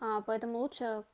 аа поэтому лучше